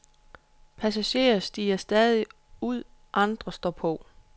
Passagerer stiger ud, andre står på.